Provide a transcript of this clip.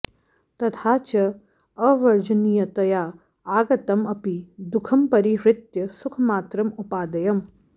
तथा च अवर्जनीयतया आगतं अपि दुखं परिहृत्य सुखमात्रं उपादेयम्